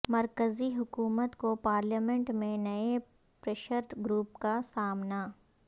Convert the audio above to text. مرکزی حکومت کو پارلیمنٹ میں نئے پریشر گروپ کا سامنا